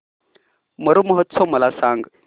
मरु महोत्सव मला सांग